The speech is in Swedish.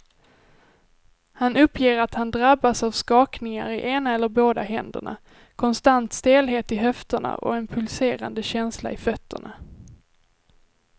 Han uppger att han drabbas av skakningar i ena eller båda händerna, konstant stelhet i höfterna och en pulserande känsla i fötterna.